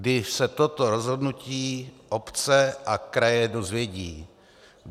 Kdy se toto rozhodnutí obce a kraje dozvědí?